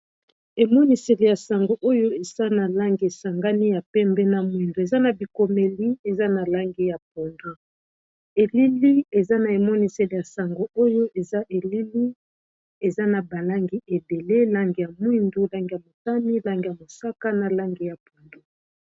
emoniseli ya sango oyo eza na langi esangani ya pembe na mwindu eza na bikomeli eza na langi ya pondu elili eza na emoniseli ya sango oyo eza elili eza na balangi ebele langi ya mwindu langi ya motami langi ya mosaka na langi ya pongo, eza logo.